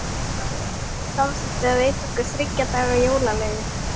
Ráðuneytið samþykkti að veita okkur þriggja daga jólaleyfi.